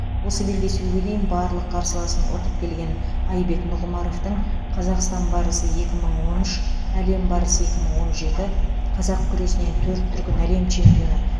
осы белдесуге дейін барлық қарсыласын ұтып келген айбек нұғымаровтың қазақстан барысы екі мың он үш әлем барысы екі мың он жеті қазақ күресінен төрт дүркін әлем чемпионы